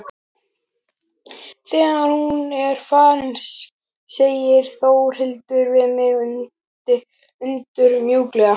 Þegar hann er farinn segir Þórhildur við mig undur mjúklega.